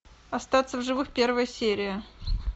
остаться в живых первая серия